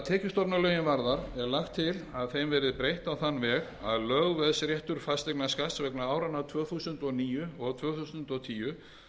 tekjustofnalögin varðar er lagt til að þeim verði breytt á þann veg að lögveðsréttur fasteignaskatts vegna áranna tvö þúsund og níu og tvö þúsund og tíu